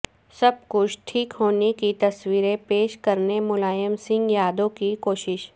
سب کچھ ٹھیک ہونے کی تصویر پیش کرنے ملائم سنگھ یادو کی کوشش